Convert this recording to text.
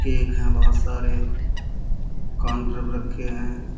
Cake हैं बहोत सारे। काउंटर पर रखे हैं।